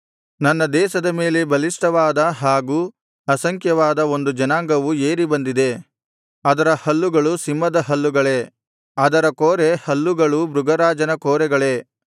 ನನ್ನ ದೇಶದ ಮೇಲೆ ಬಲಿಷ್ಠವಾದ ಹಾಗೂ ಅಸಂಖ್ಯಾತವಾದ ಒಂದು ಜನಾಂಗವು ಏರಿ ಬಂದಿದೆ ಅದರ ಹಲ್ಲುಗಳು ಸಿಂಹದ ಹಲ್ಲುಗಳೇ ಅದರ ಕೋರೆ ಹಲ್ಲುಗಳು ಮೃಗರಾಜನ ಕೋರೆಗಳೇ